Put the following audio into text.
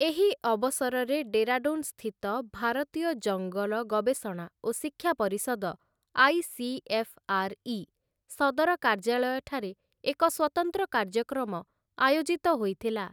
ଏହି ଅବସରରେ ଡେରାଡୁନ୍‌ସ୍ଥିତ ଭାରତୀୟ ଜଙ୍ଗଲ ଗବେଷଣା ଓ ଶିକ୍ଷା ପରିଷଦ ଆଇ.ସି.ଏଫ୍‌.ଆର୍‌.ଇ. ସଦର କାର୍ଯ୍ୟାଳୟଠାରେ ଏକ ସ୍ୱତନ୍ତ୍ର କାର୍ଯ୍ୟକ୍ରମ ଆୟୋଜିତ ହୋଇଥିଲା ।